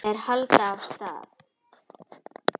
Þeir halda af stað.